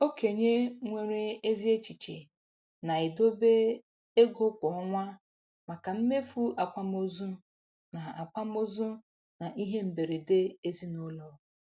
Okenye nwere ezi echiche na-edobe ego kwa ọnwa maka mmefu akwamozu na akwamozu na ihe mberede ezinụlọ.